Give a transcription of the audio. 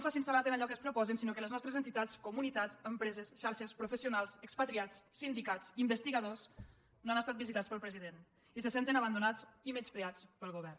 facin salat en allò que es proposen sinó que les nostres entitats comunitats empreses xarxes professionals expatriats sindicats investigadors no han estat visitats pel president i se senten abandonats i menyspreats pel govern